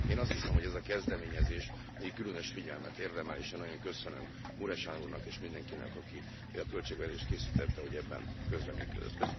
Én azt hiszem, hogy ez a kezdeményezés különös figyelmet érdemel, és nagyon köszönöm Mureşan úrnak és mindenkinek, aki a költségvetést készítette, hogy ebben közreműködött.